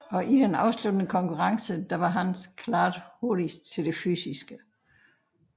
Og i den afsluttende konkurrence var Hans klart hurtigst til det fysiske